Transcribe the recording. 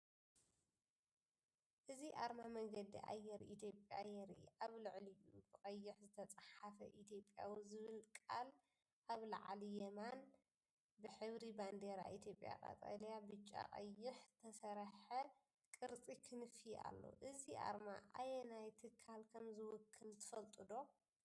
እዚ ኣርማ መንገዲ ኣየር ኢትዮጵያ የርኢ። ኣብ ልዕሊኡ ብቀይሕ ዝተጻሕፈ “ኢትዮጵያዊ” ዝብል ቃል። ኣብ ላዕሊ የማን ብሕብሪ ባንዴራ ኢትዮጵያ (ቀጠልያ፡ ብጫ፡ ቀይሕ) ዝተሰርሐ ቅርጺ ክንፊ ኣሎ። እዚ ኣርማ ኣየናይ ትካል ከም ዝውክል ትፈልጡ ዶ?